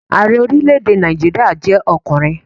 Ààrẹ orílẹ̀-èdè Nàìjíríà jẹ́ ọkùnrin